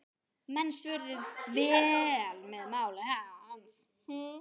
Menn svöruðu vel máli hans.